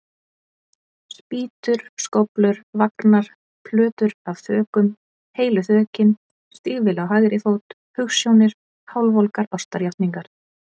Spýtur, skóflur, vagnar, plötur af þökum, heilu þökin, stígvél á hægri fót, hugsjónir, hálfvolgar ástarjátningar.